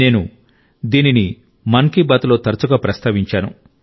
నేను దీనిని మన్ కి బాత్ లో తరచుగా ప్రస్తావించాను